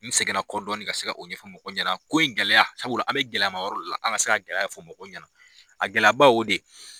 N segin na kɔ dɔɔni ka se o ɲɛfɔ mɔgɔw ɲɛna ko in gɛlɛya sabula an bɛ gɛlɛyama yɔrɔ de la an ka se ka gɛlɛya ɲɛfɔ mɔgɔw ɲɛna a gɛlɛya ba ye o de ye.